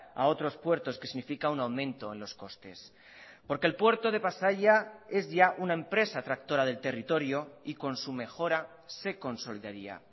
a otros puertos que significa un aumento en los costes porque el puerto de pasaia es ya una empresa tractora del territorio y con su mejora se consolidaría